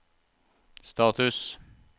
status